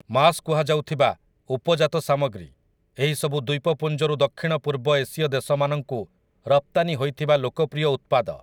ମାସ୍' କୁହାଯାଉଥିବା, ଉପଜାତ ସାମଗ୍ରୀ, ଏହିସବୁ ଦ୍ୱୀପପୁଞ୍ଜରୁ ଦକ୍ଷିଣ ପୂର୍ବ ଏସୀୟ ଦେଶମାନଙ୍କୁ ରପ୍ତାନି ହୋଇଥିବା ଲୋକପ୍ରିୟ ଉତ୍ପାଦ ।